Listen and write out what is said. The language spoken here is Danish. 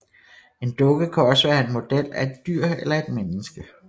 En dukke kan også være en model af et dyr eller et menneske